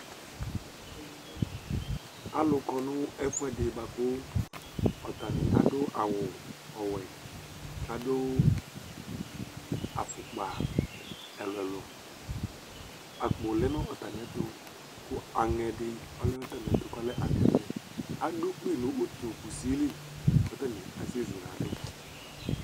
alʊ kɔ nʊ ɛfuɛdɩ, atanɩ adʊ awʊwɛ, adʊ ɛlɛnuti ɛluɛlʊ, itsuǝ lɛ nʊ atamiɛtʊ, kʊ aŋẽ vɛ dɩ lɛnu atamiɛtʊ, aɖʊ ukpi nʊ utukusili, kʊ atanɩ asɛzuladu